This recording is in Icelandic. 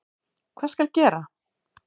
Hvað skal gera?